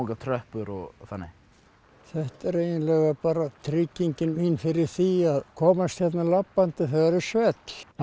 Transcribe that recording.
tröppur og þannig þetta er eiginlega tryggingin mín fyrir því að komast hérna labbandi þegar það er svell hann